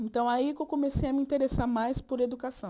Então, aí que eu comecei a me interessar mais por educação.